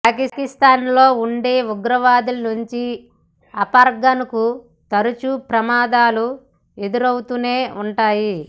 పాకిస్థాన్లో ఉండే ఉగ్రవాదుల నుంచి అఫ్గాన్కు తరచూ ప్రమాదాలు ఎదురవుతూనే ఉన్నాయి